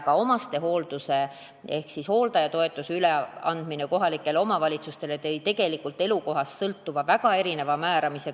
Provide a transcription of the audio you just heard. Ka omastehoolduse ehk hooldajatoetuse üleandmine kohalikele omavalitsustele tõi tegelikult elukohast sõltuvalt väga erineva määramise.